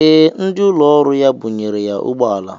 Ee, ndị ụlọ ọrụ ya bunyere ya ụgbọala.